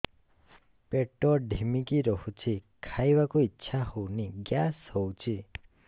ପେଟ ଢିମିକି ରହୁଛି ଖାଇବାକୁ ଇଛା ହଉନି ଗ୍ୟାସ ହଉଚି